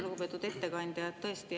Lugupeetud ettekandja!